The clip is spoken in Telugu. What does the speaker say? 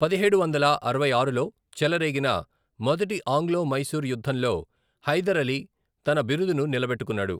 పదిహేడు వందల అరవై ఆరులో చెలరేగిన మొదటి ఆంగ్లో మైసూర్ యుద్ధంలో హైదర్ అలీ తన బిరుదును నిలబెట్టుకున్నాడు.